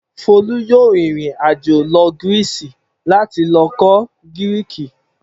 Folú yóò rìnrìn-àjò lọ Greece láti lọ kọ́ Gíríìkì.